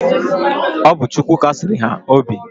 Ọ bu Chukwu Kasiri ha obi.